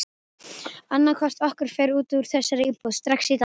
Annaðhvort okkar fer út úr þessari íbúð strax í dag!